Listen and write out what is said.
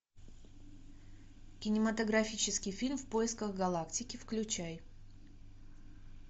кинематографический фильм в поисках галактики включай